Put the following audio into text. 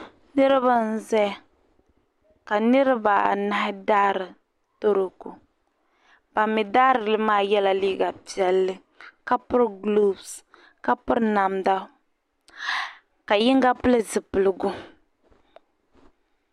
Niriba n zaya ka niriba anahi daari tɔroko, ban mi daari li maa pirila gulofu ka piri namda, ka yiŋga pili zipiligu.